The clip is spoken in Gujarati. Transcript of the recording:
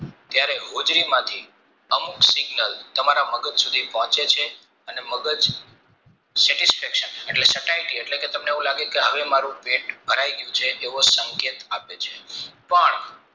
ત્યરે હોજરીમાંથી અમુક signal તમારા મગજ સુધી પહોંચે છે અને મગજ satisfaction સતયતી એટલે કે તમને એવું લાગે કે હવે મારુ પેટ ભરાય ગયું છે તેવો સંકેત આપે છે પણ